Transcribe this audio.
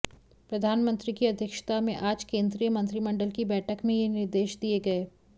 प्रधानमंत्री की अध्यक्षता में आज केंद्रीय मंत्रिमंडल की बैठक में ये निर्देश दिए गए